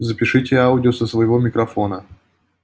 запишите аудио со своего микрофона